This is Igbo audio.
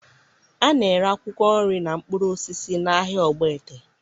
A na-ere akwụkwọ nri na mkpụrụ osisi n'ahịa Ogbete